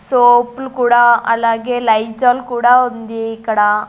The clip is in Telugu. సోపులు కూడా అలాగే లైజాల్ కూడా ఉంది ఇక్కడ.